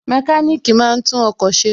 Mẹkáníkì máa ń tún ọkọ̀ ṣe